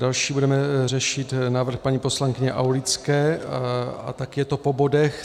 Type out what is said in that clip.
Další budeme řešit návrh paní poslankyně Aulické a taky je to po bodech.